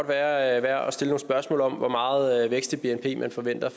værd at stille nogle spørgsmål om hvor meget vækst i bnp man forventer